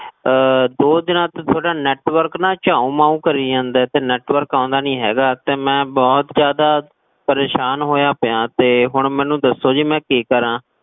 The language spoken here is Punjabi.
ਦੋ ਦਿਨਾ ਤੋ network ਨਾ ਚਾਉ ਮਾਉ ਕਰੀ ਜਾਂਦੇ, network ਆਓਂਦਾ ਨੀ ਹੈਗਾ, ਤੇ ਮੈਂ ਬੋਹੋਤ ਜਾਦਾ ਪਰੇਸ਼ਾਨ ਹੋਇਆ ਪਿਆ, ਤੇ ਹੁਣ ਮੈਨੂ ਦੱਸੋ ਜੀ ਮੈਂ ਕੀ ਕਰਾਂ?